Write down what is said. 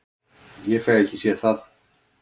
Ég fæ ekki séð það.